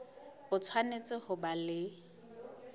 o tshwanetse ho ba le